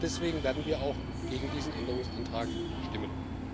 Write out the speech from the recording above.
Deswegen werden wir gegen diesen Änderungsantrag stimmen.